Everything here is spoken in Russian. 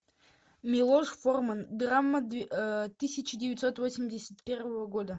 милош форман драма тысяча девятьсот восемьдесят первого года